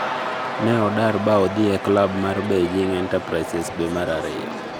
Ne odar ba odhi e klab mar Beijing Enterprises dwe mar ariyo